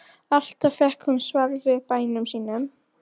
Alltaf fékk hún svar við bænum sínum.